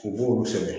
U b'olu sɛbɛn